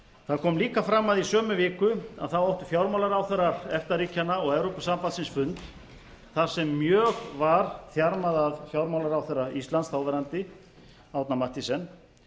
það kom líka fram að í sömu viku áttu fjármálaráðherrar efta ríkjanna og evrópusambandsins fund þar sem mjög var þjarmað að fjármálaráðherra íslands þáverandi árna mathiesen